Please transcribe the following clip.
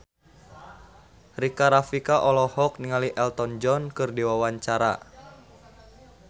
Rika Rafika olohok ningali Elton John keur diwawancara